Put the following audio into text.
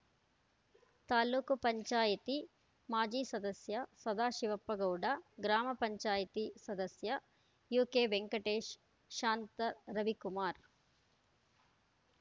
ತಾಲೂಕು ಪಂಚಾಯತಿ ಮಾಜಿ ಸದಸ್ಯ ಸದಾಶಿವಪ್ಪ ಗೌಡ ಗ್ರಾಮ ಪಂಚಾಯತಿ ಸದಸ್ಯ ಯುಕೆವೆಂಕಟೇಶ್‌ ಶಾಂತ ರವಿಕುಮಾರ್‌